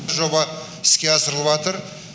жоба іске асырылыватыр